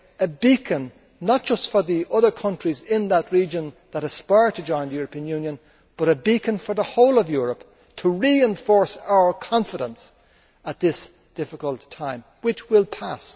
It is a beacon not just for the other countries in that region that aspire to join the European Union, but a beacon for the whole of Europe to reinforce our confidence at this difficult time which will pass.